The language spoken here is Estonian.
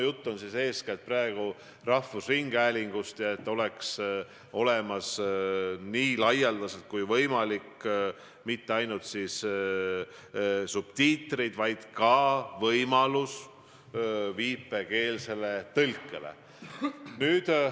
Jutt on praegu eestkätt rahvusringhäälingust, kus peaks kasutusel olema nii laialdaselt kui võimalik mitte ainult subtiitrid, vaid ka võimalus teha viipekeelset tõlget.